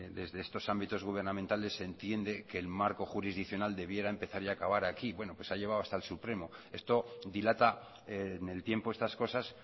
desde estos ámbitos gubernamentales se entiende que el marco jurisdiccional debiera empezar y acabar aquí bueno pues ha llegado hasta el supremo esto dilata en el tiempo estas cosas